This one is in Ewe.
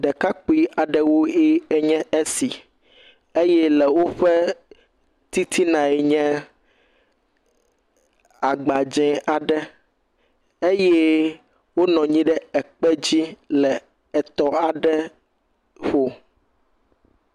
Ɖekakpui aɖe woe nye esi eye le woƒe titina ye nye agba dzɛ aɖe eye wonɔ anyi ɖe ekpe dzi le etɔ aɖe ƒo.